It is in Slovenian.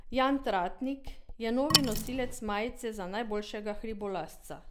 Jan Tratnik je novi nosilec majice za najboljšega hribolazca.